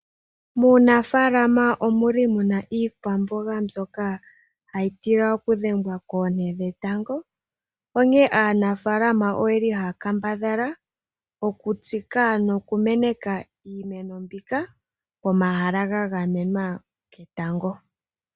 Muunafalama omuli muna iikwamboga mbyoka hayi tila okudhengwa koonte dhetango onkee aanafalama oyeli haya kambadhala okutsika nokumeneka iimeno mbika pomahala ga gamenwa ketango.